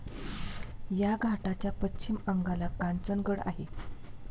या घाटाच्या पश्चिम अंगाला कांचनगड आहे.